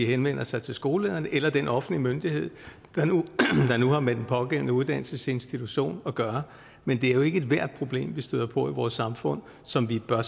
henvender sig til skolelederen eller den offentlige myndighed der nu har med den pågældende uddannelsesinstitution at gøre men det er jo ikke ethvert problem vi støder på i vores samfund som vi bør